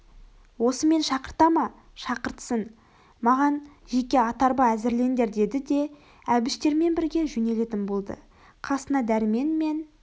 осымен шақыртама шақыртсын маған жеке ат-арба әзірлендер деді де әбіштермен бірге жөнелетін болды қасына дәрмен мен